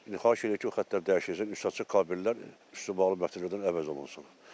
İndi xahiş edirik ki, o xəttlər dəyişiləcək, üstü açıq kabellər üstü bağlı kabellər əvəz olun olsun.